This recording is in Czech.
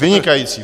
Vynikající.